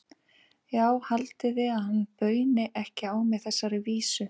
Já, haldið þið að hann bauni ekki á mig þessari vísu?